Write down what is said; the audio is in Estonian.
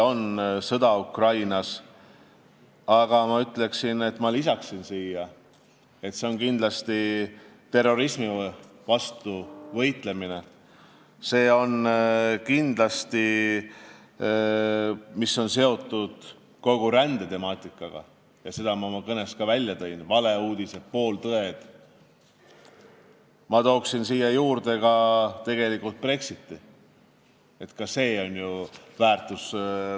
Ukrainas käib sõda ja ma lisaksin, et kindlasti tuleb meil ka terrorismi vastu võidelda ja tegelda kogu rändetemaatikaga – seda ma märkisin ka oma kõnes –, samuti tõkestada valeuudiste ning pooltõdede levitamist.